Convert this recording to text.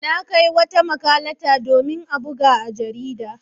Na kai wata makalata domin a buga a jarida.